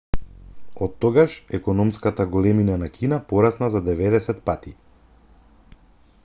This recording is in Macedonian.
оттогаш економската големина на кина порасна за 90 пати